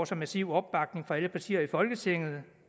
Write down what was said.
så massiv opbakning fra alle partier i folketinget jeg